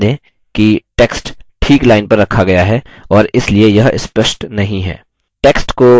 ध्यान दें कि text ठीक line पर रखा गया है और इसलिए यह स्पष्ट नहीं है